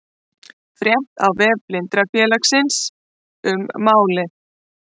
Frétt á vef Blindrafélagsins um málið